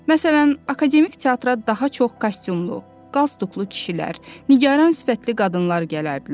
Məsələn, akademik teatra daha çox kostyumlu, qalstuklu kişilər, nigaran sifətli qadınlar gələrdilər.